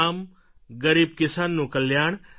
ગામ ગરીબ કિસાનનું કલ્યાણ